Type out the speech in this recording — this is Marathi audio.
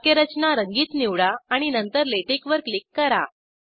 वाक्यरचना रंगीत निवडा आणि नंतर लॅटेक्स वर क्लिक करा